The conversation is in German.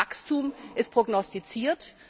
Wachstum ist prognostiziert.